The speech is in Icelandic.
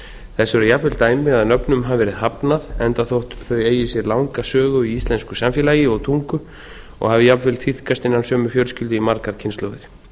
eru jafnvel dæmi að nöfnum hafi verið hafnað enda þótt þau eigi sér langa sögu í íslensku samfélagi og tungu og hafi jafnvel tíðkast innan sömu fjölskyldu í margar kynslóðir